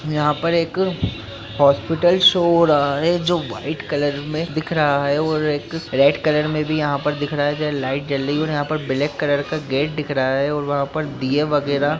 यहां पर एक हॉस्पिटल शो हो रहा है जो व्हाइट कलर में दिख रहा है और एक रेड कलर में भी यहां पर दिख रहा है जहां लाइट जल रही है| और यहां पर ब्लैक कलर का गेट दिख रहा है और वहां पर दिये वगैरह--